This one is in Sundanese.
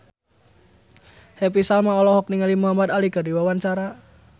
Happy Salma olohok ningali Muhamad Ali keur diwawancara